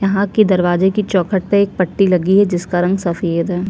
यहाँ के दरवाजे के चौखट पे एक पट्टी लगी है जिसका रंग सफ़ेद है।